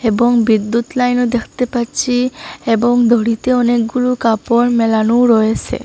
এবং বিদ্যুৎ লাইনও দেখতে পাচ্ছি এবং দড়িতে অনেকগুলু কাপড় মেলানোও রয়েসে ।